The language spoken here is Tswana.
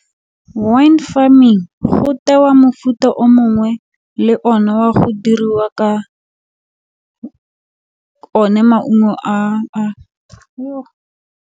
Wine farming go tewa mofuta o mongwe le one wa go diriwa ka one maungo .